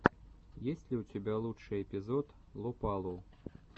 есть ли у тебя лучший эпизод лопалу